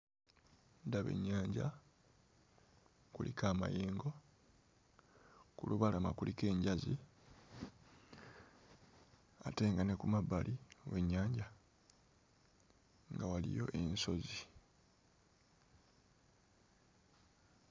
Ndaba ennyanja, kuliko amayengo, ku lubalama kuliko enjazi ate nga ne ku mabbali w'ennyanja nga waliyo ensozi.